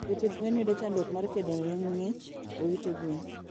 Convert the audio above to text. jopidh gwen yudo chanddruok mar kedone ngich e ute gwen